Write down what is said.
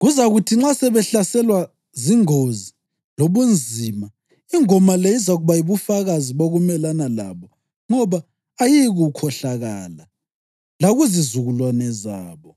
Kuzakuthi nxa sebehlaselwa zingozi lobunzima, ingoma le izakuba yibufakazi bokumelana labo ngoba ayiyikukhohlakala lakuzizukulwane zabo.